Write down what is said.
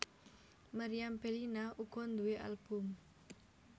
Meriam Bellina uga nduwé album